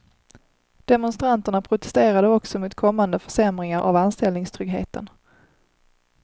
Demonstranterna protesterade också mot kommande försämringar av anställningstryggheten.